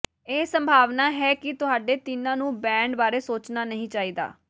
ਇਹ ਸੰਭਾਵਨਾ ਹੈ ਕਿ ਤੁਹਾਡੇ ਤਿੰਨਾਂ ਨੂੰ ਬੈੱਡ ਬਾਰੇ ਸੋਚਣਾ ਨਹੀਂ ਚਾਹੀਦਾ